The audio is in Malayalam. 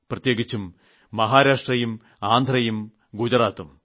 പ്രത്യേകിച്ചും മഹാരാഷ്ട്രയും ആന്ധ്രയും ഗുജറാത്തും